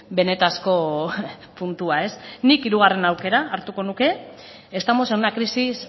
benetako puntua nik hirugarren aukera hartuko nuke estamos en una crisis